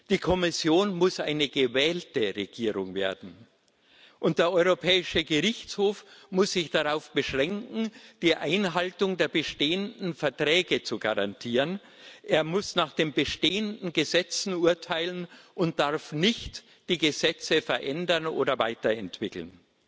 Die Kommission muss eine gewählte Regierung werden, und der Europäische Gerichtshof muss sich darauf beschränken, die Einhaltung der bestehenden Verträge zu garantieren. Er muss nach den bestehenden Gesetzen urteilen und darf nicht die Gesetze verändern oder weiterentwickeln.